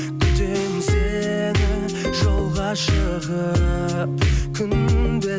күтемін сені жолға шығып күнде